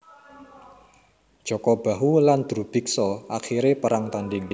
Jaka Bahu lan Drubiksa akhire perang tanding